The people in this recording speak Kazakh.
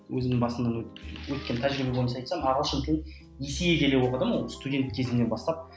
өзімнің басымнан өткен тәжірибе бойынша айтсам ағылшын тілін оқыдым ол студент кезімнен бастап